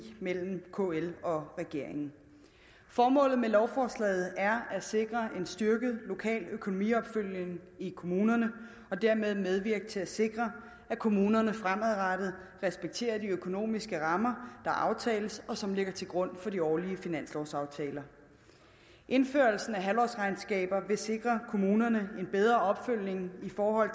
mellem kl og regeringen formålet med lovforslaget er at sikre en styrket lokal økonomiopfølgning i kommunerne og dermed medvirke til at sikre at kommunerne fremadrettet respekterer de økonomiske rammer der aftales og som ligger til grund for de årlige finanslovaftaler indførelsen af halvårsregnskaber vil sikre kommunerne en bedre opfølgning i forhold